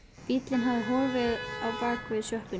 Bíllinn hafði horfið á bak við sjoppuna.